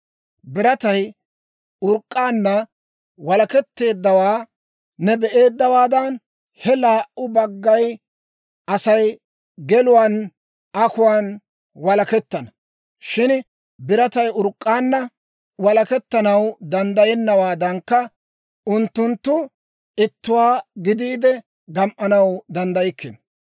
Biratay urk'k'aanna walaketteeddawaa ne be'eeddawaadan, he laa"u bagga Asay geluwaan akuwaan walakettana; shin biratay urk'k'aanna walakettanaw danddayennawaadankka, unttunttu ittuwaa gidiide gam"anaw danddaykkino.